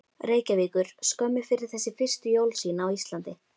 Reykjavíkur skömmu fyrir þessi fyrstu jól sín á Íslandi.